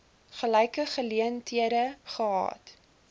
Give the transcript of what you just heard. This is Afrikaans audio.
gelyke geleenthede gehad